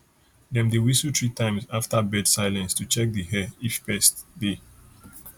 dem dey whistle three times after bird silence to check di air if pests dey